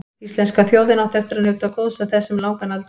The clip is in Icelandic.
Íslenska þjóðin átti eftir að njóta góðs af þessu um langan aldur.